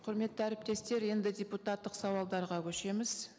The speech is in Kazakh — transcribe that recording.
құрметті әріптестер енді депутаттық сауалдарға көшеміз